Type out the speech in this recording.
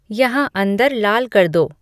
यहाँ अंदर लाल कर दो